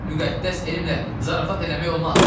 Müqəddəs elmlə zarafat eləmək olmaz.